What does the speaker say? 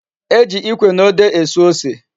E ji ikwe na ode esu ose